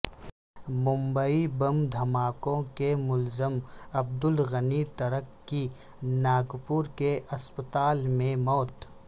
ممبئی بم دھماکوں کےملزم عبدالغنی ترک کی ناگپور کے اسپتال میں موت